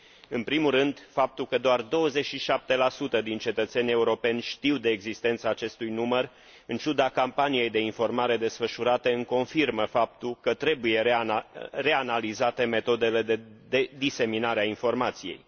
În primul rând, faptul că doar 27 din cetățenii europeni știu de existența acestui număr, în ciuda campaniei de informare desfășurate, îmi confirmă faptul că trebuie reanalizate metodele de diseminare a informației.